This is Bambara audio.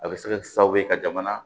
A bɛ se ka kɛ sababu ye ka jamana